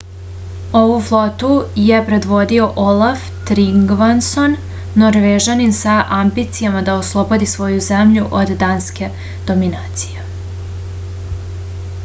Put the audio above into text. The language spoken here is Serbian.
ovu flotu je predvodio olaf trigvason norvežanin sa ambicijama da oslobodi svoju zemlju od danske dominacije